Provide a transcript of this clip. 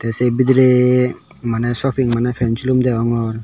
se bidirey maneh shopping maney pan silum degongor.